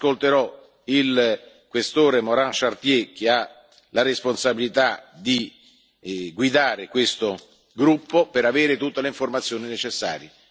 ascolterò il Questore Morin Chartier, che ha la responsabilità di guidare questo gruppo, per avere tutte le informazioni necessarie.